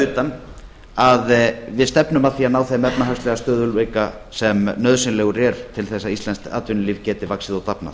utan að við stefnum að því að ná þeim efnahagslega stöðugleika sem nauðsynlegur er til þess að íslenskt atvinnulíf geti vaxið og dafnað